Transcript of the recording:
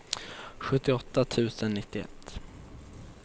sjuttioåtta tusen nittioett